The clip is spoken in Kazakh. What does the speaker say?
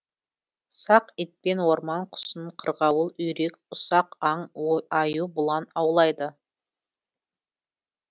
сақ итпен орман құсын қырғауыл үйрек ұсақ аң аю бұлан аулайды